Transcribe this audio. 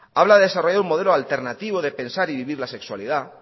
habla de desarrollar un modelo alternativo de pensar y vivir la sexualidad